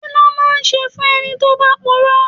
Kí ló máa ń ṣe fún ẹni tí ó bá puro?